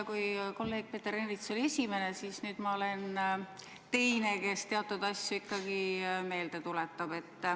Kui kolleeg Peeter Ernits oli esimene, siis nüüd ma olen teine, kes teatud asju ikkagi meelde tuletab.